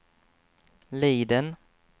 Liden